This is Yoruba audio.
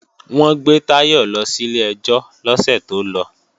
Wọ́n gbé Táyọ̀ lọ sílé ẹjọ́ lọ́sẹ̀ tó lọ